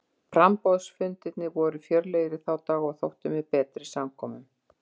Framboðsfundirnir voru fjörlegir í þá daga og þóttu með betri samkomum.